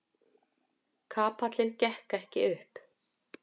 Kapallinn gekk ekki upp.